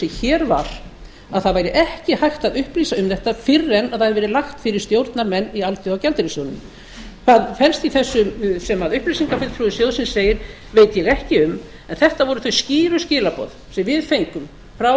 hér var að það væri ekki hægt að upplýsa um þetta fyrr en það hefði verið lagt fyrir stjórnarmenn í alþjóðagjaldeyrissjóðnum hvað felst í þessu sem upplýsingafulltrúi sjóðsins segir veit ég ekki um en þetta voru þau skýru skilaboð sem við fengum frá